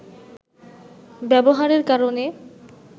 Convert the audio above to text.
ব্যবহারের কারণে